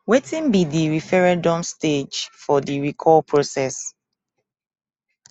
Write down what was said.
wetin be di referendum stage for di recall process